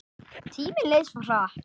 Tíminn leið svo hratt.